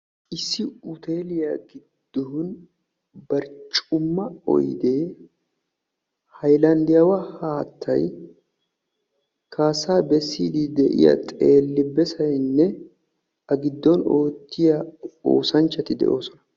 issi hoteeltiya gioddon barccuma oydee hayllandiyaawa haattay kaasaa besiidi de'iya qeeri besoynne a giddon beettiya oosanchchati de'oosona.